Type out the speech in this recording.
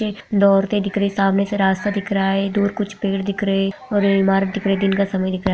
की दो औरते दिख रही है सामने से रास्ता दिख रहा है दूर कुछ पेड़ दिख रहे है और इमारत दिख रही है दिन का समय दिख रहा है।